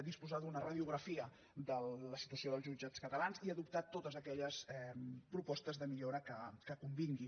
disposar d’una radiografia de la situació dels jutjats catalans i adoptar totes aquelles propostes de millora que convinguin